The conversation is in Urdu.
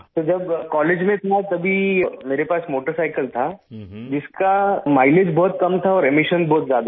سر جب کالج میں تھا تب میرے پاس موٹرسائیکل تھی ، جس کا مائی لیج بہت کم تھا اور اخراج بہت زیادہ تھا